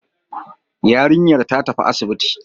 Yarinyar ta tafi asibiti